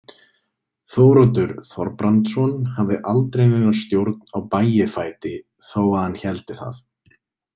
Þóroddur Þorbrandsson hafði aldrei neina stjórn á Bægifæti þó að hann héldi það.